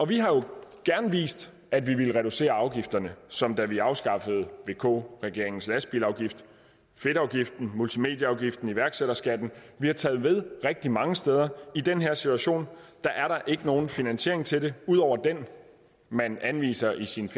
vi har jo gerne vist at vi ville reducere afgifterne som da vi afskaffede vk regeringens lastbilafgift fedtafgiften multimedieafgiften iværksætterskatten vi har taget ved rigtig mange steder i den her situation er der ikke nogen finansiering til det ud over den man anviser i sit